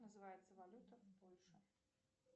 называется валюта в польше